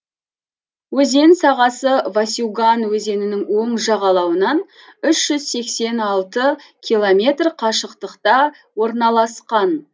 өзен сағасы васюган өзенінің оң жағалауынан үш жүз сексен алты километр қашықтықта орналасқан